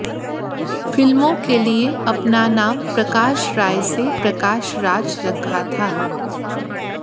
फिल्मों के लिए अपना नाम प्रकाश राय से प्रकाश राज रखा था